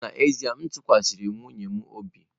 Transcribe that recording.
N'ezie m tụkwasịrị nwunye m obi.